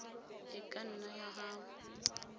e ka nna ya gana